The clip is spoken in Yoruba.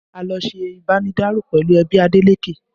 A lọ ṣe ibanidaro pẹ̀lú ẹbí Adeleke